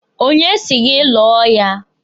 Onye si gị lụọ ya?